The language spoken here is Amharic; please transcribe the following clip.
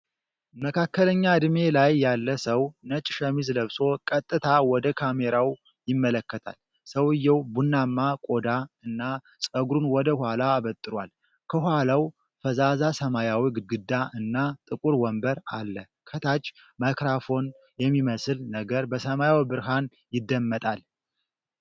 መካከለኛ ዕድሜ ላይ ያለ ሰው ነጭ ሸሚዝ ለብሶ፣ ቀጥታ ወደ ካሜራው ይመለከታል። ሰውየው ቡናማ ቆዳ እና ጸጉሩን ወደ ኋላ አበጥሯል፤ ከኋላው ፈዛዛ ሰማያዊ ግድግዳ እና ጥቁር ወንበር አለ። ከታች፣ ማይክሮፎን የሚመስል ነገር በሰማያዊ ብርሃን ይደመጣል።